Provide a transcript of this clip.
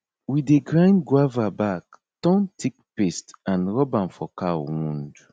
we dey grind guava bark turn thick paste and rub am for cow wound